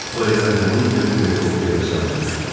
O elə həmin gün helikopterlə sahilə uçdu.